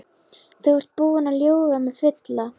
Þú ert búinn að ljúga mig fulla.